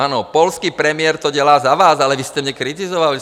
Ano, polský premiér to dělá za vás, ale vy jste mě kritizoval.